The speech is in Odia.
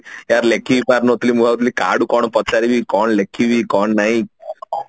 ୟାର ଲେଖି ହିଁ ପାରୁ ନଥିଲି ମୁଁ ଭାବୁଥିଲି କାହାକୁ କଣ ପଚାରିବି କଣ ଲେଖିବୀ କଣ ନାଇଁ